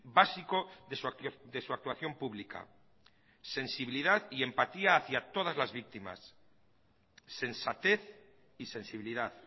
básico desu actuación pública sensibilidad y empatía hacia todas las víctimas sensatez y sensibilidad